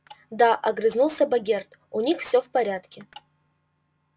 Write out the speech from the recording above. да огрызнулся богерт у них все в порядке